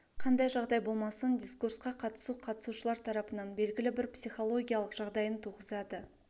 қандай жағдай болмасын дискурсқа қатысу қатысушылар тарапынан белгілі бір психологиялық жағдайын туғызады